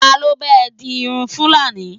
talo ba e di Irun fulani